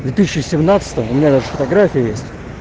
две тысячи семнадцатом у меня даже фотография есть